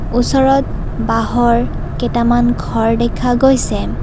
ওচৰত বাঁহৰ কেইটামান ঘৰ দেখা গৈছে।